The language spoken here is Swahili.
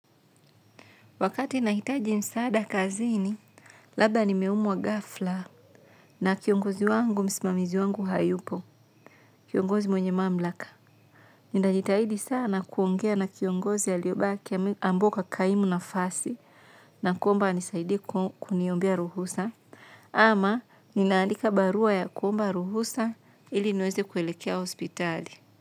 Wakati nahitaji msaada kazini, labda nimeumwa ghafla na kiongozi wangu msimamizi wangu hayupo, kiongozi mwenye mamlaka. Ninajitahidi sana kuongea na kiongozi aliobaki ambao ukakaimu nafasi na kuomba anisaidie kuniombea ruhusa ama ninaandika barua ya kuomba ruhusa ili niweze kuelekea hospitali.